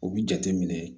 U bi jate minɛ